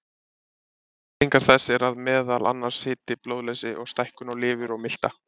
Afleiðingar þess eru meðal annars hiti, blóðleysi og stækkun á lifur og milta.